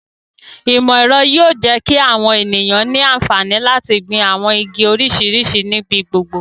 Imọ-ẹrọ yóò jẹ ki awọn eniyan ni anfani lati gbin awọn igi oriṣiriṣi nibi gbogbo